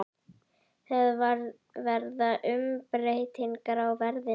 Það verða umbreytingar í veðrinu.